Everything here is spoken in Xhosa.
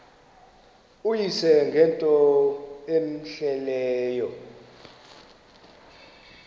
uyise ngento cmehleleyo